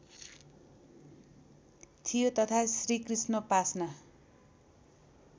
थियो तथा श्रीकृष्णोपासना